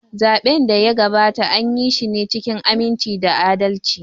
Zaɓen da ya gabata, anyi shi cikin aminci da adalci.